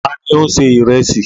Ta ni ó ń se ìrẹsì?